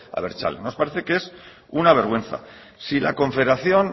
abertzale nos parece que es una vergüenza si la confederación